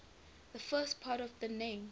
the first part of the name